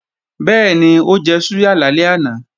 Bẹ́ẹ̀ni, ó jẹ súyà lálẹ́ àná